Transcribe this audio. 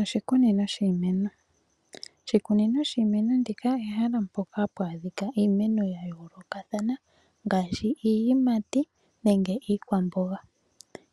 Oshikunino shiimeno, oshikunino shiimeno ndika ehala mpoka hapu adhika iimeno ya yoolokathana ngaashi iiyimati nenge iikwamboga.